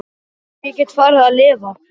Svo ég gæti farið að lifa.